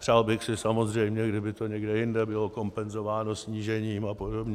Přál bych si samozřejmě, kdyby to někde jinde bylo kompenzováno snížením a podobně.